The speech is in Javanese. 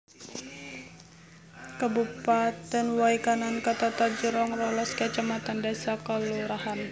Kabupatèn Way Kanan ketata jroning rolas kacamatan désa/kalurahan